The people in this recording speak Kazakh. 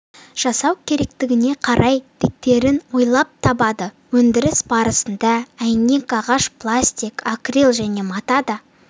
жасау керектігіне қарай тетіктерін ойлап табады өндіріс барысында әйнек ағаш пластик акрил және мата да